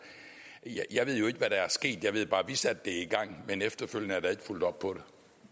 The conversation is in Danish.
jeg ved jo ikke hvad der er sket jeg ved bare at vi satte det i gang men efterfølgende er der ikke fulgt op på